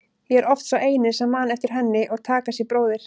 Ég er oft sá eini sem man eftir henni og Takashi bróðir.